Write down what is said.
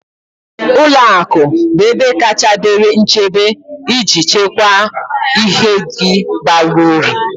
Ụlọ akụ bụ ebe kacha dịrị nchebe iji chekwaa ihe gi bara uru